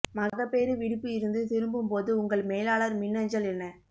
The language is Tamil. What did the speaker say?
மகப்பேறு விடுப்பு இருந்து திரும்பும் போது உங்கள் மேலாளர் மின்னஞ்சல் என்ன